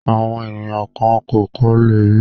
Àwọn ènìyàn kan kò kọ́lé rí.